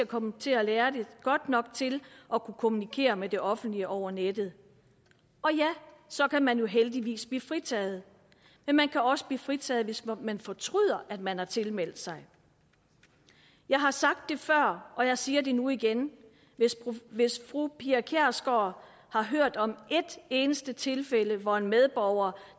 komme til at lære det godt nok til at kunne kommunikere med det offentlige over nettet og ja så kan man jo heldigvis blive fritaget men man kan også blive fritaget hvis man fortryder at man har tilmeldt sig jeg har sagt det før og jeg siger det nu igen hvis fru pia kjærsgaard har hørt om et eneste tilfælde hvor en medborger